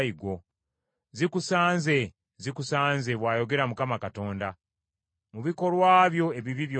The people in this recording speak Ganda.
“ ‘Zikusanze! Zikusanze, bw’ayogera Mukama Katonda. Mu bikolwa byo ebibi byonna,